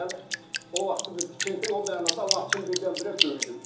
Yəni o vaxtı tikinti o mənada Laçın birdən-birə böyüdü.